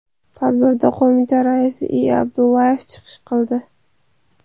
Tadbirda qo‘mita raisi I. Abdullayev chiqish qildi.